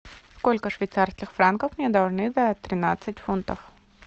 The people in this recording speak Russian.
сколько швейцарских франков мне должны за тринадцать фунтов